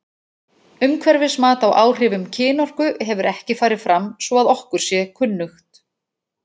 Umhverfismat á áhrifum kynorku hefur ekki farið fram svo að okkur sé kunnugt.